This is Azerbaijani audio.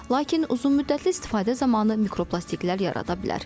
Lakin uzunmüddətli istifadə zamanı mikroplastiklər yarada bilər.